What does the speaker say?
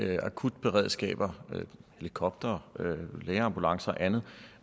af akutberedskaber helikoptere lægeambulancer og andet